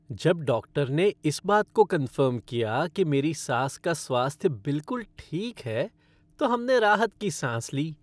जब डॉक्टर ने इस बात को कनफ़र्म किया कि मेरी सास का स्वास्थ्य बिलकुल ठीक है तो हमने राहत की सांस ली।